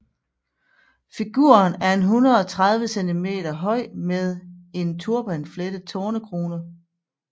Figuren er 130 cm høj med en turbanflettet tornekrone